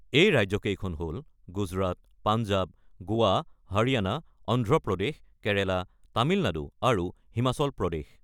এই ৰাজ্যকেইখন হ'ল, গুজৰাট, পাঞ্জাৱ, গোৱা, হাৰিয়ানা, অন্ধ্ৰপ্ৰদেশ, কেৰালা, তামিলনাডু আৰু হিমাচল প্ৰদেশ।